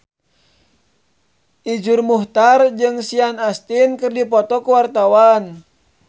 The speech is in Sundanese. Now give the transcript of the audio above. Iszur Muchtar jeung Sean Astin keur dipoto ku wartawan